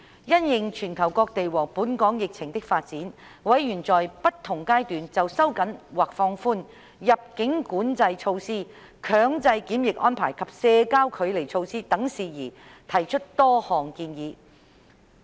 因應全球各地和本港疫情的發展，委員在不同階段就收緊或放寬入境管制措施、強制檢疫安排及社交距離措施等事宜提出多項建議。